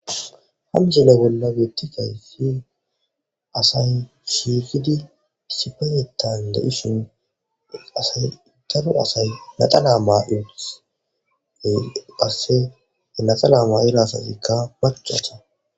Hamsola bolla bettikay si asay shiikidi sipenetan da'ishin asay daro asay naxala ma il qasse enaxalaa ma ila asatikka baccasa